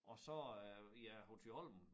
Og så øh ja på Thyholm